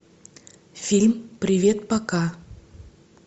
фильм привет пока